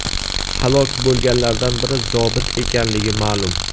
Halok bo‘lganlardan biri zobit ekanligi ma’lum.